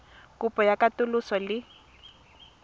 kopo ya katoloso le go